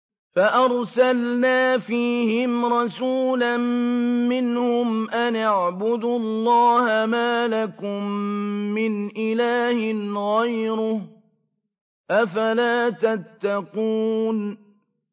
فَأَرْسَلْنَا فِيهِمْ رَسُولًا مِّنْهُمْ أَنِ اعْبُدُوا اللَّهَ مَا لَكُم مِّنْ إِلَٰهٍ غَيْرُهُ ۖ أَفَلَا تَتَّقُونَ